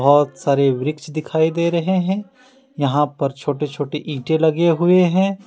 बहुत सारे वृक्ष दिखाई दे रहे हैं। यहां पर छोटे छोटे ईंटे लगे हुए हैं।